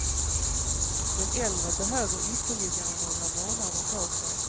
De äldre behöver ytterligare några månader på sig.